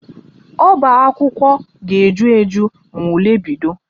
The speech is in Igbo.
Ọbaakwụkwọ ga-eju eju ma ule bido